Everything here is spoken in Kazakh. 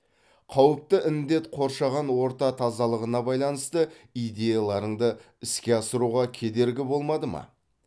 қауіпті індет қоршаған орта тазалығына байланысты идеяларыңды іске асыруға кедергі болмады ма